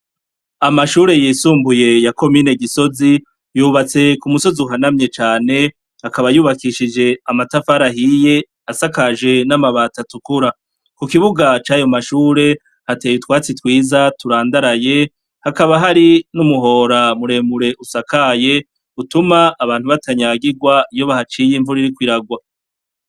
Amashure yisumbuye yakomine gisozi yubatse ku musozi uhanamye cane akaba yubakishije amatafarahiye asakaje n'amabata tukura ku kibuga cayo mashure hateye utwatsi twiza turandaraye hakaba hari n'umuhora muremure usakaye utuma abantu atanyagirwa iyo bahaciye imvura iriko iragwa.